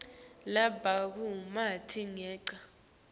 labatfole bumatima ngenca